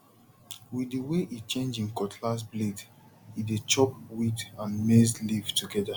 with the way e change him cutlass blade e dey chop weed and maize leaf together